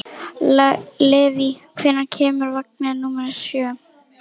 Leivi, hvenær kemur vagn númer sjö?